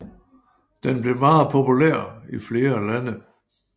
Den blev meget populær i flere lande